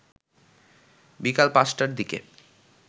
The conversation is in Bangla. বিকাল ৫টার দিকে